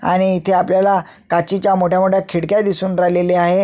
आणि इथे आपल्याला काचेच्या मोठ्या मोठ्या खिडक्या दिसून राहिलेल्या आहे.